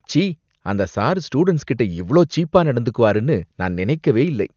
ச்சீ, அந்த sir students கிட்ட இவ்ளோ சீப்பா நடந்துக்குவாருன்னு நான் நினைக்கவே இல்லை.